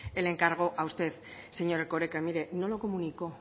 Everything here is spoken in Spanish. el encargo a usted señor erkoreka mire no lo comunicó